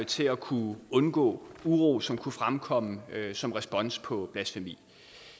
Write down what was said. til at kunne undgå uro som kunne fremkomme som respons på blasfemi